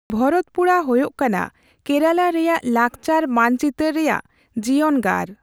ᱵᱷᱚᱨᱚᱛᱯᱩᱲᱟ ᱦᱩᱭᱩᱜ ᱠᱟᱱᱟ ᱠᱮᱨᱟᱞᱟ ᱨᱮᱭᱟᱜ ᱞᱟᱜᱪᱟᱨ ᱢᱟᱱᱪᱤᱛᱟᱹᱨ ᱨᱮᱭᱟᱜ ᱡᱤᱭᱚᱱᱜᱟᱨ ᱾